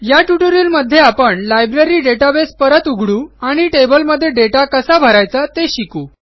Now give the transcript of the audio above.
या ट्युटोरियलमध्ये आपण लायब्ररी डेटाबेस परत उघडू आणि टेबलमध्ये दाता कसा भरायचा ते शिकू